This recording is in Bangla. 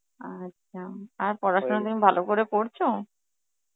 আচ্ছা আর পড়াশোনা তুমি ভালো করে পড়ছো?